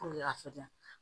a ja